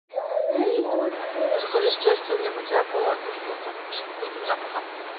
закажи средство для мытья полов одну штуку с вкусным запахом